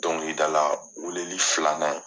Dɔnkilidala weleli filanan.